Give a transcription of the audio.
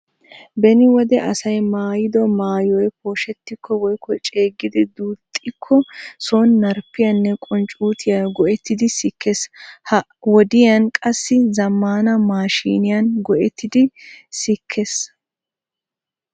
Beni wode asay maayyido maatyoy pooshshetiko woykko ceeggidi duuxxikko sooni narppiyanne qunccutiya go"ettidi sikkees. Ha wodiyaan qassi zammana maashiniyaan go"ettidi sikkees.